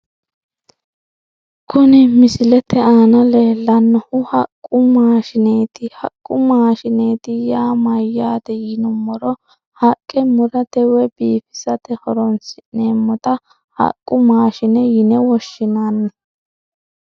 kuni misilete aana leellannohu haqqu maashshineeti haqqu maashshineeti yaa mayyaate yinummoro haqqa murate woy biifisate horoonsi'neemmota haqqu maashine yine woshshinanni